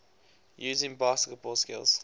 using basketball skills